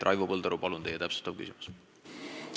Raivo Põldaru, palun teie täpsustav küsimus!